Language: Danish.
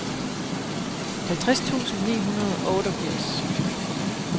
halvtreds tusind ni hundrede og otteogfirs